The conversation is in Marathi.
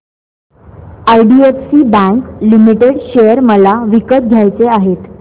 आयडीएफसी बँक लिमिटेड शेअर मला विकत घ्यायचे आहेत